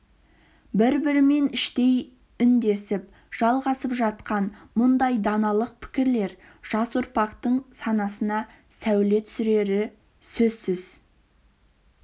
бір-бірімен іштей үндесіп жалғасып жатқан мұндай даналық пікірлер жас ұрпақтың санасына сәуле түсірері сөзсіз